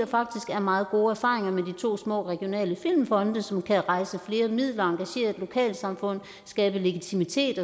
er meget gode erfaringer med de to små regionale filmfonde som kan rejse flere midler engagere lokalsamfundene skabe legitimitet